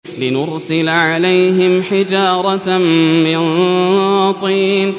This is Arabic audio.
لِنُرْسِلَ عَلَيْهِمْ حِجَارَةً مِّن طِينٍ